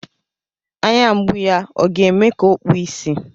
Anya mgbu ya ọ ga-eme ka o kpuo ìsì.